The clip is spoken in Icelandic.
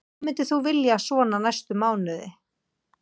Hvað myndir þú vilja svona næstu mánuði?